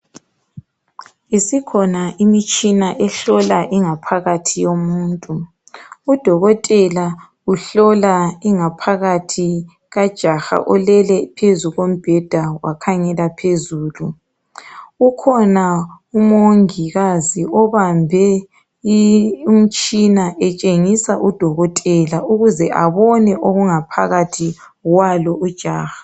Isikhona imitshina ehlola ingaphakathi yomuntu. Udokotela uhlola ingaphakathi kajaha olele embhedeni wakhangela phezulu. Ukhona umongikazi obambe umtshina etshengisa udokotela ukuze abone okungaphakathi kwalo ujaha.